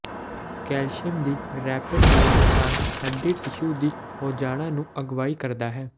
calcium ਦੀ rapid ਦਾ ਨੁਕਸਾਨ ਹੱਡੀ ਟਿਸ਼ੂ ਦੀ ਹੋਜਾਣਾ ਨੂੰ ਅਗਵਾਈ ਕਰਦਾ ਹੈ